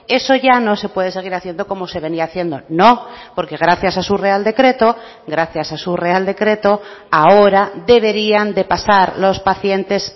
eso ya no se puede seguir haciendo como se venía haciendo no porque gracias a su real decreto gracias a su real decreto ahora deberían de pasar los pacientes